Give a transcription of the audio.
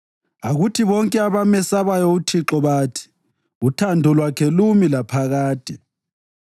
Akuthi bonke abamesabayo uThixo bathi: “Uthando lwakhe lumi laphakade.”